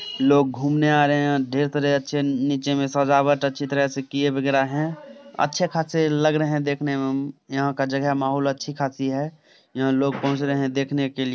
लोग घूमने आ रहे है। ढेर तरेह से अच्छे नीचे में सजावट अच्छी तरह से किये बेगरा है। अच्छे खासे लग रहे देखने में यहाँ का जगह माहोल अच्छी खासी है। यहाँ लोग पहुंच रहे देखने के लिए।